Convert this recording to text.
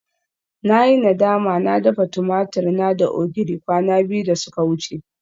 Na yi nadama na dafa tumatur na da ogiri kwana biyu da suka wuce